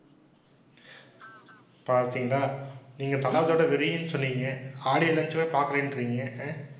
பாத்தீங்களா நீங்க வெறியன்னு சொன்னீங்க. audio launch கூட பாக்கலைன்றீங்க அஹ்